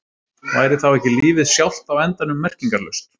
Væri þá ekki lífið sjálft á endanum merkingarlaust?